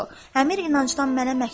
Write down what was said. Əmir inancdan mənə məktub?